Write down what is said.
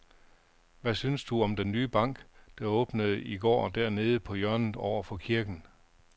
Hvad synes du om den nye bank, der åbnede i går dernede på hjørnet over for kirken?